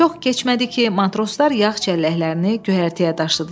Çox keçmədi ki, matroslar yağ çəlləklərini göyərtəyə daşıdılar.